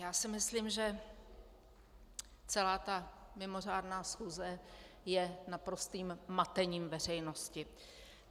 Já si myslím, že celá ta mimořádná schůze je naprostým matením veřejnosti.